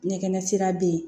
Ɲɛkɛnɛ sira bɛ yen